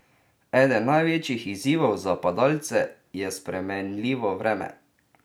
Eden največjih izzivov za padalce je spremenljivo vreme.